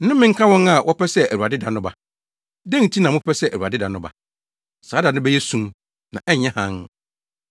Nnome nka wɔn a wɔpɛ sɛ Awurade da no ba! Dɛn nti na mopɛ sɛ Awurade da no ba? Saa da no bɛyɛ sum, na ɛnyɛ hann.